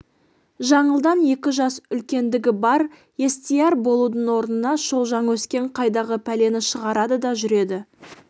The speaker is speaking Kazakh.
жаңылдан екі жас үлкендігі бар естияр болудың орнына шолжаң өскен қайдағы пәлені шығарады да жүреді